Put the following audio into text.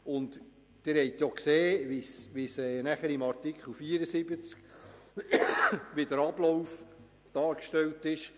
Sie haben gesehen, wie der Ablauf in Artikel 74 dargestellt ist.